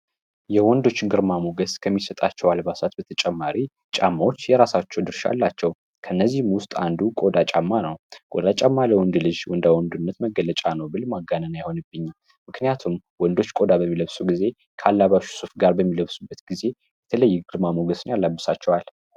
የወንዶችን ግርማ ሞገስ ከሚሰጣቸው አልባሳት በተጨማሪ ጫማዎች የራሳቸው ድርሻ አላቸው። ከነዚህም ውስጥ አንዱ ቆዳ ጫማ ነው። ቆዳ ጫማ ለወንድ ልጅ ወንዳወንድነት መገለጫ ነው፤ ብል ማጋነን አይሆንብኝም። ምክንያቱም ወንዶች ቆዳ በሚለብሱ ጊዜ ካላባሹ ሱፍ በሚለብሱበት ጊዜ የተለያየ ግርማ ሞገስ ያላብሳቸዋል።